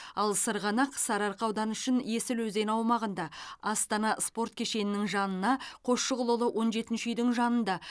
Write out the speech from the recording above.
ал сырғанақ сарыарқа ауданы үшін есіл өзені аумағында астана спорт кешенінің жанына қосшығұлұлы он жетінші үйдің жанында